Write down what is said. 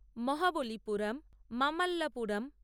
Mahabalipuram Mamallapuram